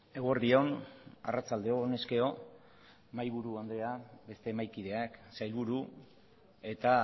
eguerdi on arratsalde on honezkero mahaiburu anderea beste mahaikideak sailburu eta